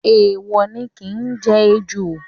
Èèwò ni ki jẹ ejò.